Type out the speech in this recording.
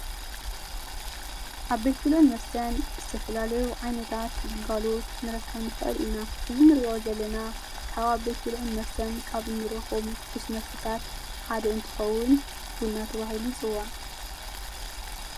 ኣብ ቤት ብልዑል መስተን ዝተፈላለዩ ዓይነታት ግልጓሉት ክንረከምኒ ኽእል ኢና እዝሚ ርዖ ዘለና ካብ ኣብ ቤት ብልዑ ን መስተን ካብ ንሮኸም ትኩስ መስሳት ሓድ እንትኸዉን ቡናተ ዋሂል ይጽዋዕ።